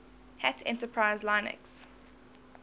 hat enterprise linux